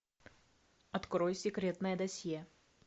открой секретное досье